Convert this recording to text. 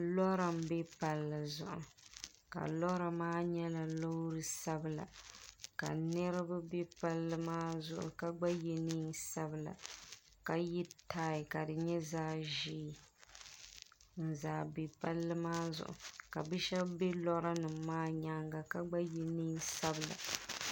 lɔra m-be palli zuɣu ka lɔra maa nyɛla loori sabila ka niriba be palli maa zuɣu ka gba ye neen' sabila ka ye taai ka di nyɛ zaɣ' ʒee n-zaa be palli maa zuɣu ka bi' shɛba be lɔra nima maa nyaaga ka gba ye neen' sabila.